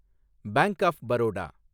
bank of Baroda